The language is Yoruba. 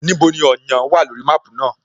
Níbo ni Ọ̀yán wà lórí máàpú náà?